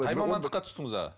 қай мамандыққа түстіңіз аға